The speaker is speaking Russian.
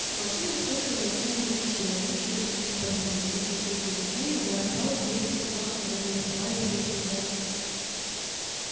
волчонок слышал рычание кичи рванувшейся ему на подмогу слышал крики людей удары палок и визг собак которым доставались эти удары